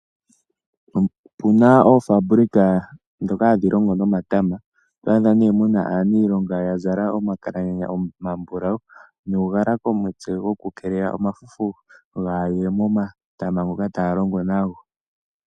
Opuna oofaabulika ndhoka hadhi longo nomatama, oto adha mo ne aaniilonga ya zala omakalanyanya omambulawu nuugala komutse woku keelela omafufu kaagaye momatama ngoka taya longo nago.